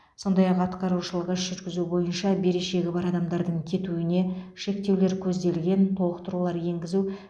сондай ақ атқарушылық іс жүргізу бойынша берешегі бар адамдардың кетуіне шектеулер көзделген толықтырулар енгізу